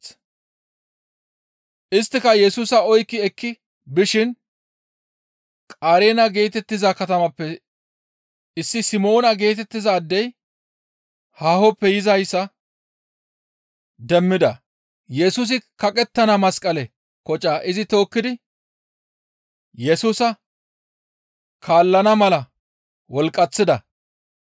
Isttika Yesusa oykki ekki bishin Qareena geetettiza katamappe issi Simoona geetettiza addey haahoppe yizayssa demmida; Yesusi kaqettana masqale kocaa izi tookkidi Yesusa kaallana mala wolqqaththida.